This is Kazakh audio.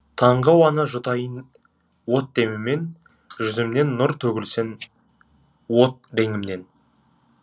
таңғы ауаны жұтайын от деміммен жүзімнен нұр төгілсін от реңімнен